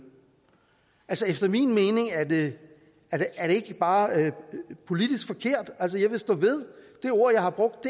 efter min mening er det ikke bare politisk forkert og jeg vil stå ved det ord jeg har brugt